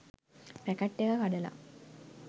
packet එක කඩලා